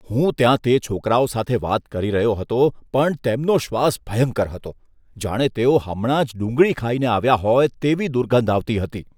હું ત્યાં તે છોકરાઓ સાથે વાત કરી રહ્યો હતો પણ તેમનો શ્વાસ ભયંકર હતો. જાણે તેઓ હમણાં જ ડુંગળી ખાઈને આવ્યાં હોય, તેવી દુર્ગંધ આવતી હતી.